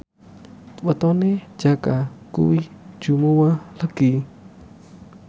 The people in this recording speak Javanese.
wetone Jaka kuwi Jumuwah Legi